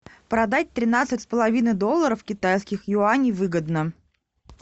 продать тринадцать с половиной долларов китайских юаней выгодно